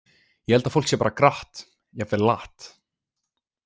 Ég held að fólk sé bara gratt, jafnvel latt.